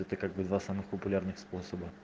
это как бы два самых популярных способа